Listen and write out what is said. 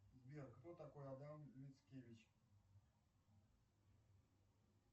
сбер кто такой адам мицкевич